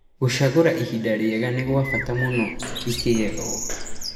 Gũcagora ihinda rĩega nĩgwabata nano ĩkĩgethwo.